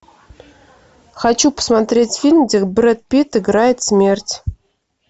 хочу посмотреть фильм где брэд питт играет смерть